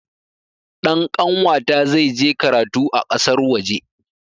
Ɗan kanwata zai je karatu a ƙasar waje